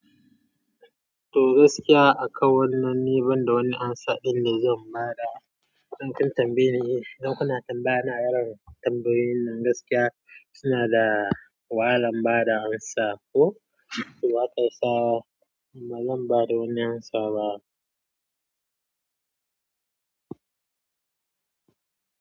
To gaskiya a kan wannan ni banda wani amsa ɗin da zan ba da, dan kin tambayi ne. Don kuna tambaya na yaren tambayoyin nan gaskiya suna da wahalan ba da amsa ko to akasawa bazan ba da wani amsa ba.